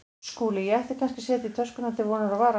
SKÚLI: Ég ætti kannski að setja í töskurnar til vonar og vara.